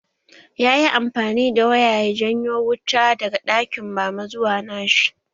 Yayi amfani da waya ya janyo wuta daga ɗakin mama zuwa nashi